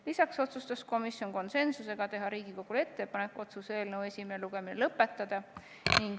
Lisaks otsustas komisjon konsensusega teha Riigikogule ettepaneku otsuse eelnõu esimene lugemine lõpetada.